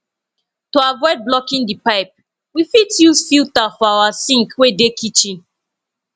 to avoid blocking di pipe we fit use filter for our sink wey dey kitchen